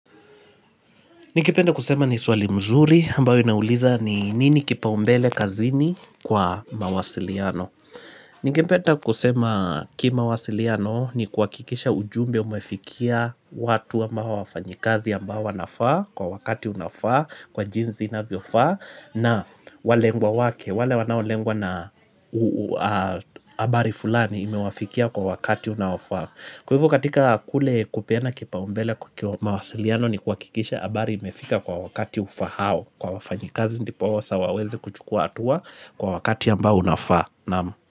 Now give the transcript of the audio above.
Nikipenda kusema ni swali mzuri ambayo inauliza ni nini kipaumbele kazini kwa mawasiliano. Ningependa kusema kimawasiliano ni kuhakikisha ujumbe umefikia watu ama wafanyikazi ambao wanafaa kwa wakati unafaa kwa jinsi inavyofaa na walengwa wake, wale wanao lengwa na habari fulani imewafikia kwa wakati unaofaa. Kwa hivo katika kule kupena kipaumbele kukiwa mawasiliano ni kuhakikisha habari imefika kwa wakati ufaaao Kwa wafanyikazi ndiposa waweze kuchukua hatua kwa wakati ambao unafaa.